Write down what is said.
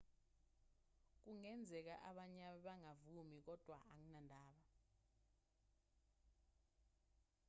kungenzeka abanye bangavumi kodwa anginandaba